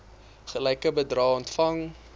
gelyke bedrae ontvang